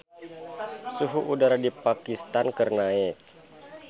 Suhu udara di Pakistan keur naek